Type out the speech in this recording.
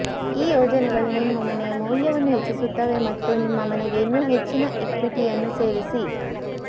ಈ ಯೋಜನೆಗಳು ನಿಮ್ಮ ಮನೆಯ ಮೌಲ್ಯವನ್ನು ಹೆಚ್ಚಿಸುತ್ತವೆ ಮತ್ತು ನಿಮ್ಮ ಮನೆಗೆ ಇನ್ನೂ ಹೆಚ್ಚಿನ ಇಕ್ವಿಟಿಯನ್ನು ಸೇರಿಸಿ